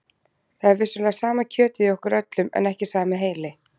Það er vissulega sama kjötið í okkur öllum en ekki sami heili.